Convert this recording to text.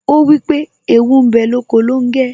Ó wípé ' Ewu ń bẹ lóko longe'